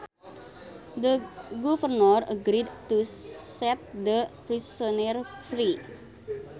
The governor agreed to set the prisoner free